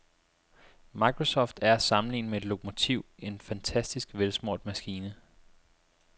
Microsoft er at sammenligne med et lokomotiv, en fantastisk velsmurt maskine.